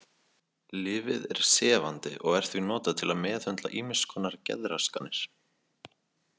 Lyfið er sefandi og er því notað til að meðhöndla ýmiss konar geðraskanir.